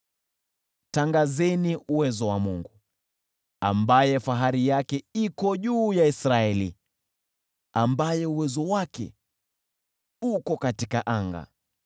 Tangazeni uwezo wa Mungu, ambaye fahari yake iko juu ya Israeli, ambaye uwezo wake uko katika anga.